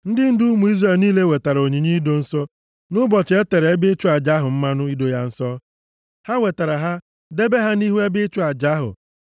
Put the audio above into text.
Ndị ndu ụmụ Izrel niile wetara onyinye ido nsọ nʼụbọchị e tere ebe ịchụ aja ahụ mmanụ ido ya nsọ. Ha wetara ha, debe ha nʼihu ebe ịchụ aja ahụ.